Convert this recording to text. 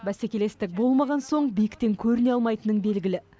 бәсекелестік болмаған соң биіктен көріне алмайтының белгілі